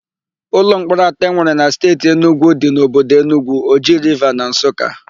Ụlọmkpọrọ atọ e nwere na Steeti Enugwu dị n'obodo Enugwu, Oji Riva na Nsụka.